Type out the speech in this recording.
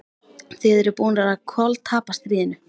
Þið eruð búnir að koltapa stríðinu!